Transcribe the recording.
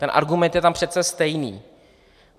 Ten argument je tam přece stejný.